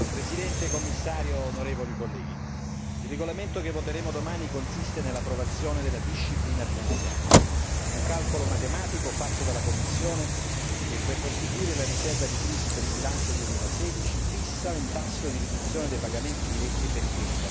Signor Presidente, Commissario, onorevoli colleghi, il regolamento che voteremo domani consiste nell'approvazione della disciplina finanziaria un calcolo matematico fatto dalla Commissione che per costituire la riserva di crisi per il bilancio 2016 fissa un tasso di riduzione dei pagamenti diretti per il